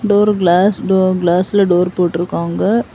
Door glass டோ கிளாஸ்ல டோர் போட்டுருக்காங்க.